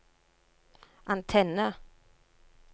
antenne